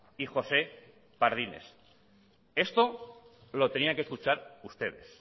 y josé pardines esto lo tenían que escuchar ustedes